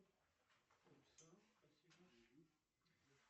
голосовой помощник внеси абонентскую плату за мой тариф